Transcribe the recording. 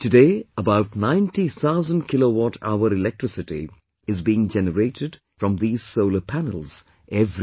Today about 90 thousand kilowatt hour electricity is being generated from these solar panels every year